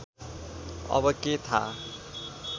अब के थाहा